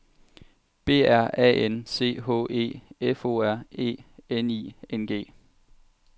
B R A N C H E F O R E N I N G